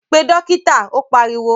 Pe Dókítà. Ó pariwo